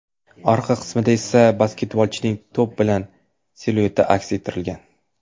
Orqa qismida esa basketbolchining to‘p bilan silueti aks ettirilgan.